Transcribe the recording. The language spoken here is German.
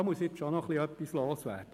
Hier muss ich noch etwas loswerden.